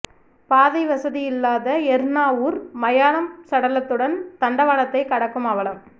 பாதை வசதி இல்லாத எர்ணாவூர் மயானம் சடலத்துடன் தண்டவாளத்தை கடக்கும் அவலம்